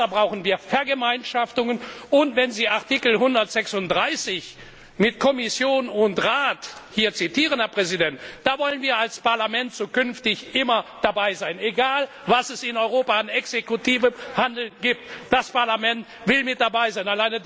Deshalb brauchen wir Vergemeinschaftungen. Wenn Sie Artikel 136 mit Kommission und Rat hier zitieren, Herr Präsident, da wollen wir als Parlament zukünftig immer dabei sein. Egal, was es in Europa an exekutivem Handeln gibt, das Parlament will mit dabei sein.